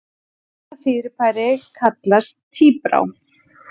Þetta fyrirbæri kallast tíbrá.